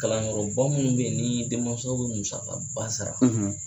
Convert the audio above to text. Kalanyɔrɔ minnu bɛ yen ni denmansa o bɛ musakaba sara